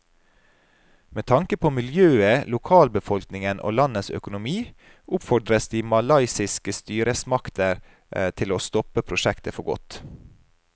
Med tanke på miljøet, lokalbefolkningen og landets økonomi oppfordres de malaysiske styresmaktene til å stoppe prosjektet for godt.